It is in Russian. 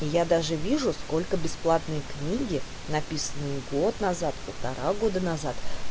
я даже вижу сколько бесплатные книги написанные год назад полтора года назад